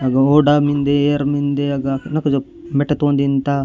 अघोडा मिन्दे एयर मिन्दे अगा नक जोक मेट तोंद तिंदा --